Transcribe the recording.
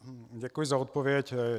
Děkuji za odpověď.